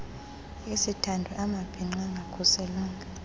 isithandwa amabhinqa angakhuselwanga